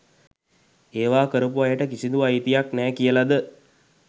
ඒවා කරපු අයට කිසිදු අයිතියක් නෑ කියලද